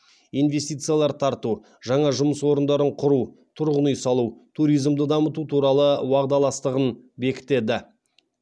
инвестициялар тарту жаңа жұмыс орындарын құру тұрғын үй салу туризмді дамыту туралы уағдаластығын бекітеді